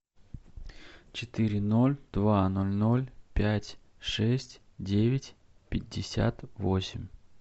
четыре ноль два ноль ноль пять шесть девять пятьдесят восемь